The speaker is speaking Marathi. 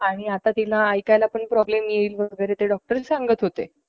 आणि तिला ऐकायला प्रॉब्लेम येईल वेगैरे डॉक्टर सांगत होते